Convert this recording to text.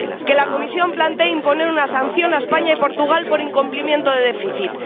que la Comisión plantee imponer una sanción a España y Portugal por incumplimiento de déficit.